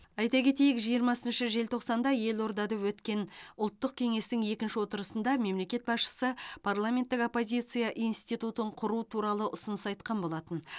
айта кетейік жиырмасыншы желтоқсанда елордада өткен ұлттық кеңестің екінші отырысында мемлекет басшысы парламенттік оппозиция институтын құру туралы ұсыныс айтқан болатын